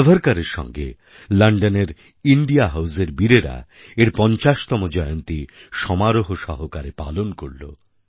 সাভারকরের সঙ্গে লন্ডনের ইন্ডিয়া হাউজের বীরেরা এর পঞ্চাশতম জয়ন্তীসমারোহ সহকারে পালন করল